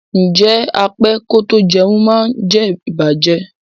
Ǹjẹ́ á pẹ kò tó jẹ̀un má ǹ jẹ̀ ìbàjẹ́?